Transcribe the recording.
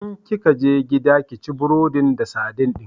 In kika je gida, ki ci burodin da sadin din!